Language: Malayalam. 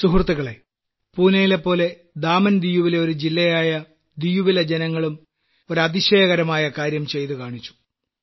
സുഹൃത്തുക്കളെ പൂനയിലെപ്പോലെ ദാമൻദിയുലെ ഒരു ജില്ലയായ ദിയുവിലെ ജനങ്ങളും ഒരു അതിശയകരമായ കാര്യം ചെയ്തു കാണിച്ചു